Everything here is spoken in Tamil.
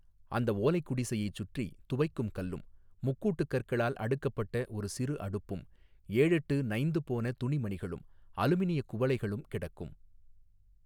அந்த ஓலைக் குடிசையை சுற்றி துவைக்கும் கல்லும் முக்கூட்டுக் கற்களால் அடுக்கப்பட்ட ஒரு சிறு அடுப்பும் ஏழெட்டு நைந்து போன துணிமணிகளும் அலுமினியக் குவளைகளும் கிடக்கும்.